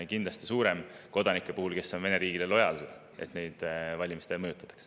Kindlasti on kodanike puhul, kes on Vene riigile lojaalsed, suurem see tõenäosus, et neid valimistega seoses mõjutatakse.